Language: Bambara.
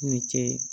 Ni kɛ